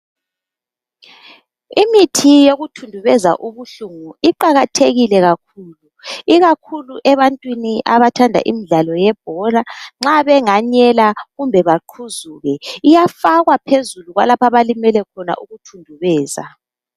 Imithi yokuthundubeza ubuhlungu iqakathekile kakhulu. Ikakhulu ebantwini abathanda imidlala yebhola. Nxa benganyela, kumbe baqhuzuke. Iyafakwa phezulu kwalapha abalimele khona, ukuthundubeza.